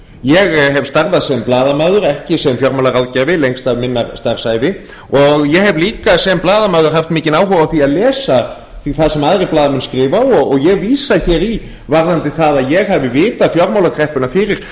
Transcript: ég hef starfað sem blaðamaður ekki sem fjármálaráðgjafi lengst af minnar starfsævi og ég hef líka sem blaðamaður haft mikinn áhuga á því að lesa það sem aðrir blaðamenn skrifa og ég vísa hér í varðandi það að ég hafi vitað fjármálakreppuna fyrir